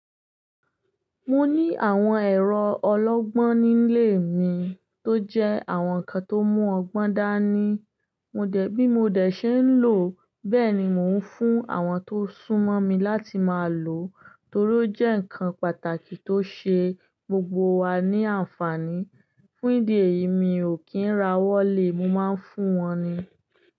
Mo ní àwọn ẹ̀rọ ọlọ́gbọ́n nílé mi tó jẹ́ àwọn ǹkan tó mú ọgbọ́n dá ní. Mo dẹ̀, bí mo dẹ̀ ṣe ń lò, bẹ́ẹ̀ ni mò ń fún àwọn tó sún mọ́ mi láti máa lò torí ó jẹ́ ǹkan pàtàkì tó ṣe gbogbo wa ní àǹfààní. Fún ìdí èyí mi ò kí ń ra wọ́lé, mo máa ń fún wọn ni.